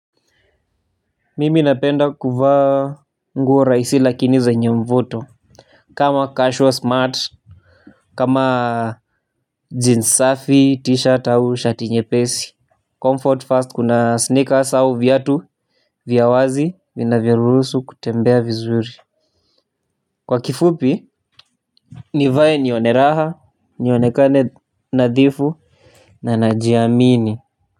Mimi napenda kuva nguo rahisi lakini zenye mvuto. Kama cashwa smart kama jeans safi t-shirt au shati nyepesi Comfort fast kuna sneakers au vyatu vya wazi vina vyoruhusu kutembea vizuri. Kwa kifupi nivae nione raha nionekane nadhifu na na jiamini.